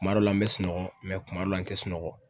Kuma dɔ la n bɛ sunɔgɔ mɛ kuma dɔ la n tɛ sunɔgɔ.